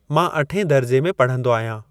मां अठें दर्जे में पढ़ंदो आहियां।